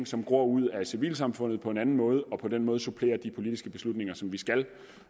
som gror ud af civilsamfundet på en anden måde og på den måde supplerer de politiske beslutninger som vi skal